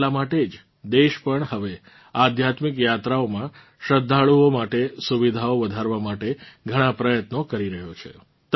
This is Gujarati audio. એટલાં માટે જ દેશ પણ હવે આધ્યાત્મિક યાત્રાઓમાં શ્રદ્ધાળુઓ માટે સુવિધાઓ વધારવા માટે ઘણાં પ્રયત્નો કરી રહ્યો છે